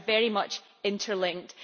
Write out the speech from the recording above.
They are very much interlinked.